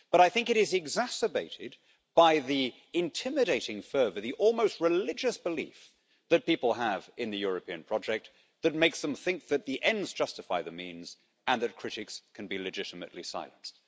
But I think it is exacerbated by the intimidating fervour, the almost religious belief that people have in the European project, that makes them think that the ends justify the means and that critics can be legitimately silenced.